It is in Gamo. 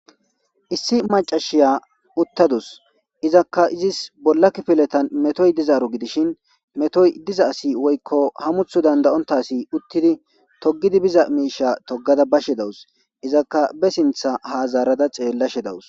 Issi maccashiya uttadus izakka izis bola kifilezan metoy dizaro gidishshin metoyi diza asi woyikko hamuththu danidaonita asi uttidi togada biza mishsha toggada bashshe dawusi izakka ba sinththa ha zara xelashshe dawusi